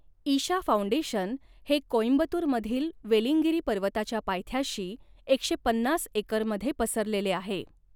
Isha foundation हे कोईंबतूर मधील वेलींगिरी पर्वताच्या पायथ्याशी एकशे पन्नास एकरमध्ये पसरलेले आहे.